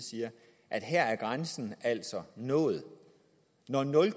siger at her er grænsen altså nået når nul